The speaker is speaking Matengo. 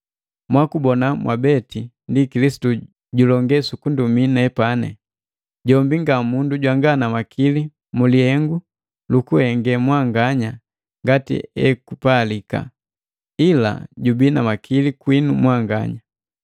Mwakubona mwabete ndi Kilisitu julonge sukundumii nepani. Jombi nga mundu jwanga na makili mu lihengu lukuhenge mwanganya ngatiekupalika, ila jubii na makili kwinu mwanganya.